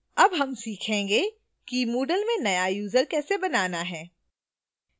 अब हम सीखेंगे कि moodle में now user कैसे बनाना है